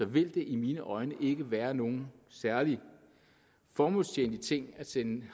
vil det i mine øjne ikke være nogen særlig formålstjenlig ting at sende